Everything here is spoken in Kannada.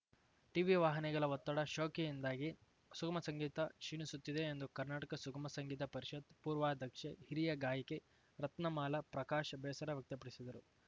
ಟಿವಿ ವಾಹಿನಿಗಳ ಒತ್ತಡ ಶೋಕಿಯಿಂದಾಗಿ ಸುಗಮ ಸಂಗೀತ ಕ್ಷೀಣಿಸುತ್ತಿದೆ ಎಂದು ಕರ್ನಾಟಕ ಸುಗಮ ಸಂಗೀತ ಪರಿಷತ್‌ ಪೂರ್ವಾಧ್ಯಕ್ಷೆ ಹಿರಿಯ ಗಾಯಕಿ ರತ್ನಮಾಲಾ ಪ್ರಕಾಶ್ ಬೇಸರ ವ್ಯಕ್ತಪಡಿಸಿದರು